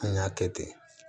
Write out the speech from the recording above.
An y'a kɛ ten